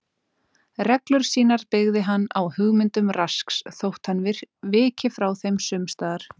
Reglur sínar byggði hann á hugmyndum Rasks þótt hann viki frá þeim sums staðar.